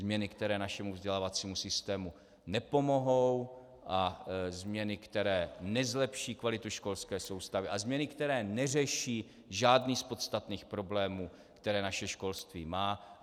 Změny, které našemu vzdělávacímu systému nepomohou, a změny, které nezlepší kvalitu školské soustavy, a změny, které neřeší žádný z podstatných problémů, které naše školství má.